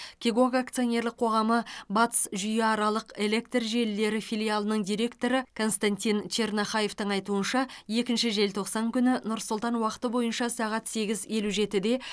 кегок акционерлік қоғамы батыс жүйеаралық электр желілері филиалының директоры константин чернохаевтың айтуынша екінші желтоқсан күні нұр сұлтан уақыты бойынша сағат сегіз елу жетіде